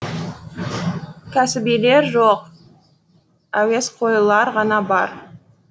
кәсібилер жоқ әуесқойлар ғана бар